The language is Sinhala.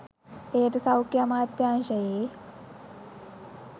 එයට සෞඛ්‍ය අමාත්‍යාංශයේ